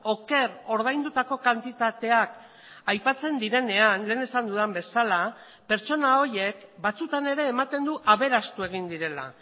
oker ordaindutako kantitateak aipatzen direnean lehen esan dudan bezala pertsona horiek batzutan ere ematen du aberastu egin direla